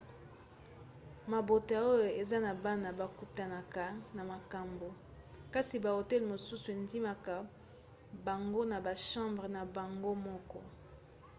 mabota oyo eza na bana bakutanaka na makambo kasi bahotel mosusu endimaka bango na bachambre na bango moko